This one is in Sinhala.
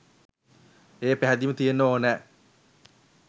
ඒ පැහැදීම තියෙන්න ඕන